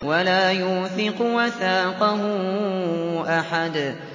وَلَا يُوثِقُ وَثَاقَهُ أَحَدٌ